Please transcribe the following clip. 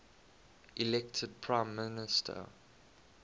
elected prime minister